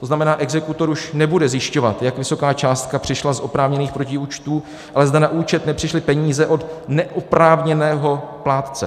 To znamená, exekutor už nebude zjišťovat, jak vysoká částka přišla z oprávněných protiúčtu, ale zda na účet nepřišly peníze od neoprávněného plátce.